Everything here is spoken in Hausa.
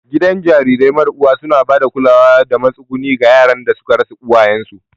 Gidan jarirai mara uwa suna ba da kulawa da matsuguni ga yaran da suka rasa uwayensu.